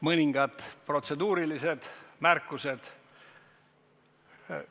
Mõningad protseduurilised märkused.